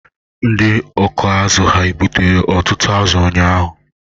Ndị ọkụ azụ̀ hà gbutere ọtụtụ azụ ụnyahụ?